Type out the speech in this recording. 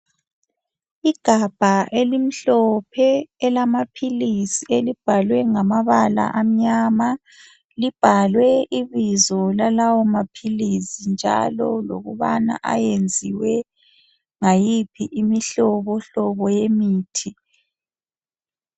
Igabha elimhlophe elamaphilisi elibhalwe namabala amnyama. Libhalwe ibizo lalawo maphilisi njalo lokubana ayenziwe ngayiphi imihlobohlobo yemithi.